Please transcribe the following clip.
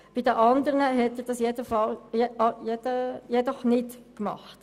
Bei den anderen hat er dies jedoch nicht getan.